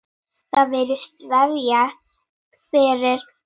Það virðist vefjast fyrir sumum.